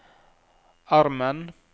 armen